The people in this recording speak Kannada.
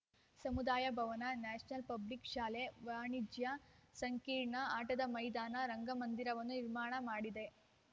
ಸಮುದಾಯ ಭವನ ನ್ಯಾಷನಲ್‌ ಪಬ್ಲಿಕ್‌ ಶಾಲೆ ವಾಣಿಜ್ಯ ಸಂಕೀರ್ಣ ಆಟದ ಮೈದಾನ ರಂಗಮಂದಿರವನ್ನು ನಿರ್ಮಾಣ ಮಾಡಿದೆ